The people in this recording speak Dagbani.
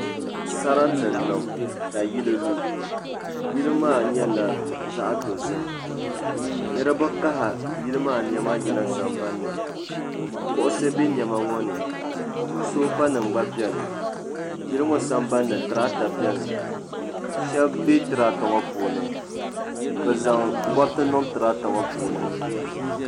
Sarati n niŋ ka yili lu yili maa nyɛla zaɣ' dozim niraba kahi yili maani niɛma yina sambanni kuɣusi bɛ niɛma ŋo ni soofa nim gba biɛni yili ŋo sambanni tirata biɛni shab bɛ tirata ŋo puuni bi zaŋ goriti niŋ tirata ŋo puuni